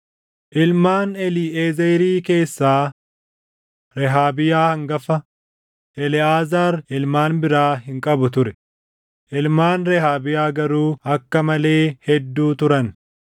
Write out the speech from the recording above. Ilmaan Eliiʼezerii keessaa: Rehaabiyaa hangafa. Eleʼaazaar ilmaan biraa hin qabu ture; ilmaan Rehaabiyaa garuu akka malee hedduu turan.